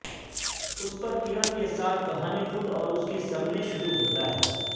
اس پرکرن کے ساتھ کہانی خود اور اس کی سمری شروع ہوتا ہے